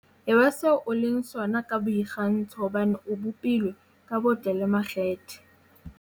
"Eba se o leng sona ka boikgantsho hobane o bopilwe ka botle le makgethe."